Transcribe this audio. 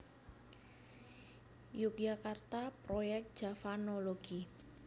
Yogyakarta Proyek Javanologi